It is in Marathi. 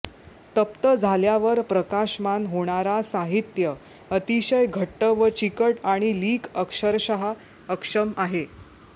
तप्त झाल्यावर प्रकाशमान होणारा साहित्य अतिशय घट्ट व चिकट आणि लीक अक्षरशः अक्षम आहे